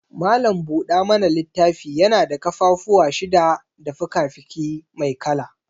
Malam buɗa mana littafi yana da ƙafafuwan shida da fikafiki mai kala.